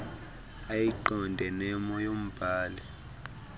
ayiqonde nemo yombhali